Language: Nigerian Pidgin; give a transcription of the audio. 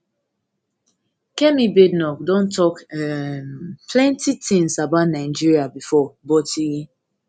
kemi badenoch don tok um plenty tins about nigeria bifor but e